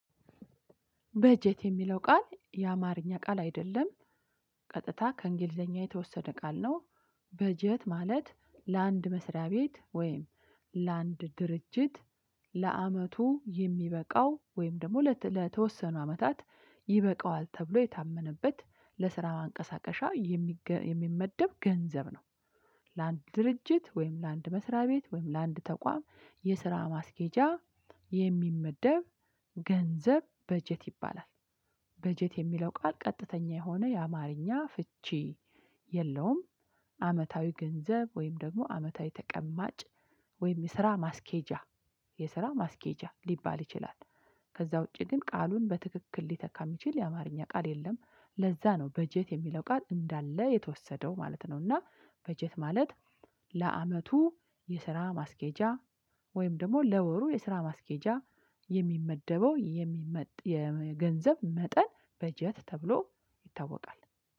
በጀት የሚለው ቃል የአማርኛ ቃል አይደለም ቀጥታ ከእንግሊዘኛ የተወሰደ ቃል ነው። በጀት ማለት ለአንድ መስሪያ ቤት ወይም ለአንድ ድርጅት ለዓመቱ የሚበቃው ወይም ደግሞ ለተወሰኑ አመታት ይበቃዋል ተብሎ የታመነበት ለስራ ማንቀሳቀሻ የሚመደብ ገንዘብ ነው። ለአንድ ድርጅት ወይም ለአንድ መስሪያ ቤት ወይም ለአንድ ተቋም የስራ ማስኬጃ የሚመደብ ገንዘብ በጀት ይባላል። በጀት የሚለው ቃል ቀጥተኛ የሆነ የአማርኛ ፍቺ የለውም። አመታዊ ገንዘብ ወይም ደግሞ አመታዊ ተቀማጭ ወይም የስራ ማስኬጃ የስራ ማስኬጃ ሊባል ይችላል። ከዛ ውጪ ግን ቃሉን በትክክል ሊተካ የሚችል የአማርኛ ቃል የለም ለዛ ነው በጀት የሚለው ቃል እንዳለ የተወሰደው ማለት ነው። እና በጀት ማለት ለዓመቱ የስራ ማስኬጃ ወይም ደግሞ ለወሩ የስራ ማስኬጃ የሚመደበው የሚመጥ የገንዘብ መጠን በጀት ተብሎ ይታወቃል